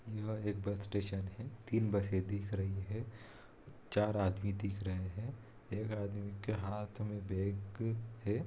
यह एक bus station है तीन बसे दिख रही है चार आदमी देख रहे हैं एक आदमी के हाथ में बैग है।